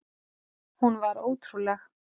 Hún var ótrúleg.